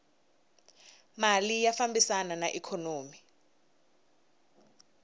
mali ya fambisana na ikhonomi